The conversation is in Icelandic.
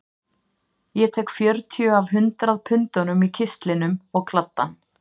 Ég tek fjörutíu af hundrað pundunum í kistlinum og kladdann